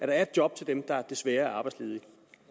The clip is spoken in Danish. der er et job til dem der desværre er arbejdsledige